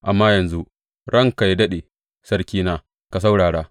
Amma yanzu, ranka yă daɗe, sarkina, ka saurara.